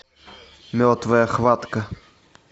мертвая хватка